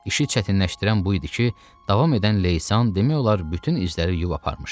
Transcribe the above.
İşi çətinləşdirən bu idi ki, davam edən leysan demək olar, bütün izləri yubarmışdı.